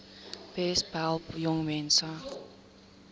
besp help jongmense